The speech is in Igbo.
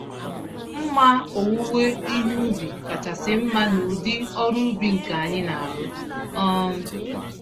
Mma owuwe ihe ubi kachasị mma n'ụdị ọrụ ubi nke anyị narụ. um